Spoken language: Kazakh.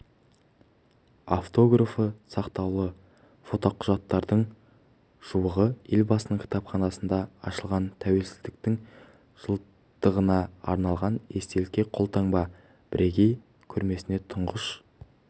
автографы сақтаулы фотоқұжаттардың жуығы елбасының кітапханасында ашылған тәуелсіздіктің жылдығына арналған естелікке қолтаңба бірегей көрмесіне тұңғыш